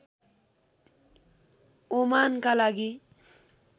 ओमानका लागि